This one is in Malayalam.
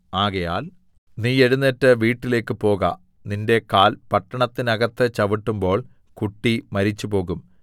ആകയാൽ നീ എഴുന്നേറ്റ് വീട്ടിലേക്കു പോക നിന്റെ കാൽ പട്ടണത്തിന്നകത്ത് ചവിട്ടുമ്പോൾ കുട്ടി മരിച്ചുപോകും